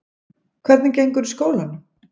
Hvernig gengur í skólanum?